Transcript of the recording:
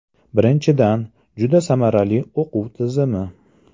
Birinchidan, juda samarali o‘quv tizimi.